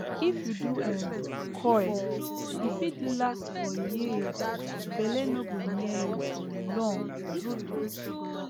if you do um coil e fit last for years belle no go near you for longtrue true